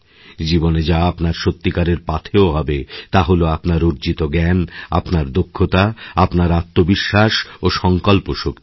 জীবনে যা আপনার সত্যিকারের পাথেয় হবে তা হল আপনার অর্জিত জ্ঞান আপনার দক্ষতা আপনার আত্মবিশ্বাস ও সংকল্পশক্তি